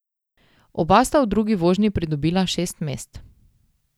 Oba sta v drugi vožnji pridobila šest mest.